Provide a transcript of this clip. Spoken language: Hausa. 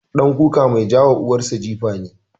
ɗan kuka mai ka wa uwar sa jifa ne.